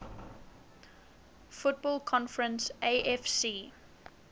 football conference afc